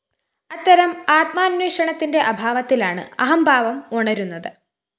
അത്തരം ആത്മാന്വേഷണത്തിന്റെ അഭാവത്തിലാണ്‌ അഹംഭാവം ഉണരുന്നത്‌